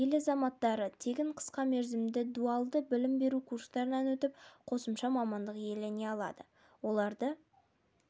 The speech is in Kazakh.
ел азаматтары тегін қысқа мерзімді дуалды білім беру курстарынан өтіп қосымша мамандық иелене алады оларды